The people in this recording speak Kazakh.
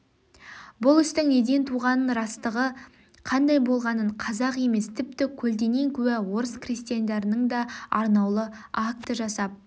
бұл істің неден туғанын растығы қандай болғанын қазақ емес тіпті көлденең куә орыс крестьяндарының да арнаулы акты жасап